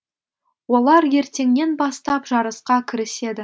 олар ертеңнен бастап жарысқа кіріседі